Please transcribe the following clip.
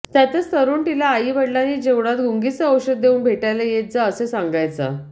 त्यातच तरुण तिला आाई वडीलांनी जेवणात गुंगीचे औषध देऊन भेटायला येत जा असे सांगायचा